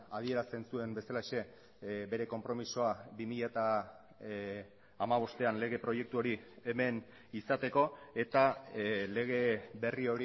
adierazten zuen bezalaxe bere konpromisoa bi mila hamabostean lege proiektu hori hemen izateko eta lege berri